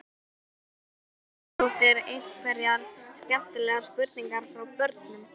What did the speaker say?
Freyja Haraldsdóttir: Einhverjar skemmtilegar spurningar frá börnum?